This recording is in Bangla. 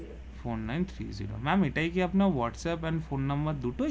four nine three zero ma'am এটাই কি আপনার হোয়াটস এপ এর ফোন নাম্বার দুটোই